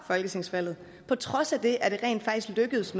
folketingsvalget og på trods af det er det jo rent faktisk lykkedes